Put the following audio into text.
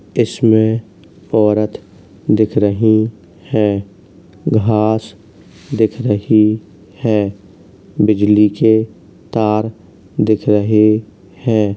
इसमे औरत दिख रही है। घास दिख रही हैं बिजली के तार दिख रहे हैं।